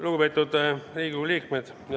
Lugupeetud Riigikogu liikmed!